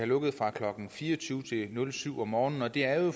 lukket fra klokken fire og tyve til klokken syv om morgenen og det er jo